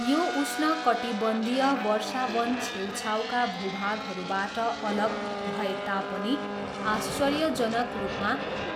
यो उष्णकटिबन्धीय वर्षा वन छेउछाउका भूभागहरूबाट अलग भए तापनि आश्चर्यजनक रूपमा